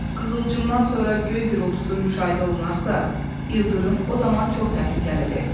Qığılcımdan sonra göy gurultusu müşahidə olunarsa, ildırım o zaman çox təhlükəlidir.